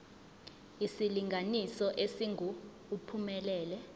isilinganiso esingu uphumelele